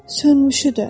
Sönmüşü də.